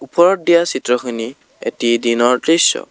ওপৰত দিয়া চিত্ৰ খিনি এটি দিনৰ দৃশ্য।